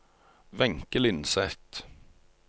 Wenche Lindseth